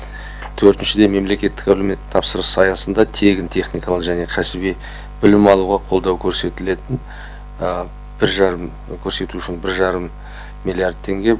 төртіншіден мемлекеттік әлеуметтік тапсырыс аясында тегін техникалық және кәсіби білім алуға қолдау көрсетілетін бір жарым көрсету үшін бір жарым миллиард теңге